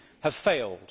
have failed?